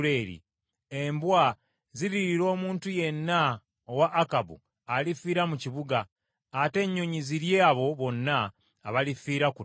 Embwa ziririira omuntu yenna owa Akabu alifiira mu kibuga, ate ennyonyi zirye abo bonna abalifiira ku ttale.’ ”